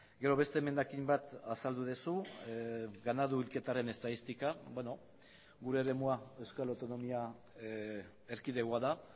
gero beste emendakin bat azaldu duzu ganadu hilketaren estatistika gure eremua euskal autonomia erkidegoa da